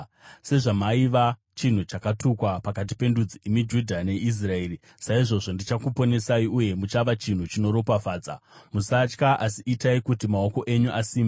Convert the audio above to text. Sezvamaiva chinhu chakatukwa pakati pendudzi, imi Judha neIsraeri, saizvozvo ndichakuponesai, uye muchava chinhu chinoropafadza. Musatya, asi itai kuti maoko enyu asimbe.”